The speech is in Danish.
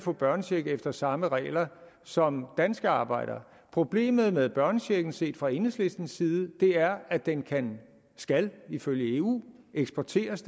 få børnecheck efter samme regler som danske arbejdere problemet med børnechecken set fra enhedslistens side er at den kan skal ifølge eu eksporteres